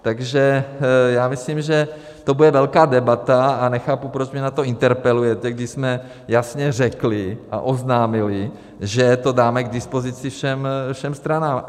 Takže já myslím, že to bude velká debata, a nechápu, proč mě na to interpelujete, když jsme jasně řekli a oznámili, že to dáme k dispozici všem stranám.